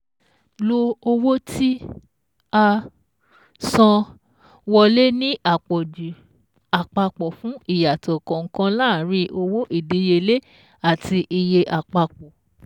Lo Owó tí-a-San-wọ́lé ní Àpọ̀jù Àpapọ̀ fún ìyàtọ̀ kànkan láàrín owó ìdíyelé àti iye àpapọ̀